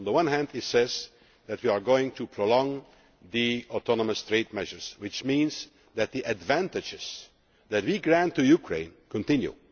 On the one hand, it says that we are going to prolong the autonomous trade measures, which means that the advantages that we grant to Ukraine can continue.